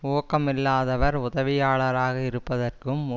ஊக்கமில்லாதவர் உதவியாளராக இருப்பதற்கும்